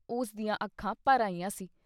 ਉਸ ਦੀਆਂ ਅੱਖਾਂ ਭਰ ਆਈਆਂ ਸੀ।